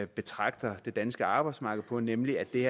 betragter det danske arbejdsmarked på nemlig at det